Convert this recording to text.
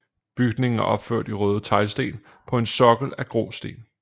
Bygningen er opført i røde teglsten på en sokkel af grå sten